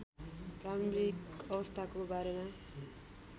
प्रारम्भिक अवस्थाको बारेमा